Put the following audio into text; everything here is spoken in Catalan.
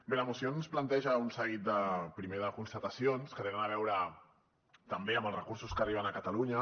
bé la moció ens planteja un seguit primer de constatacions que tenen a veure també amb els recursos que arriben a catalunya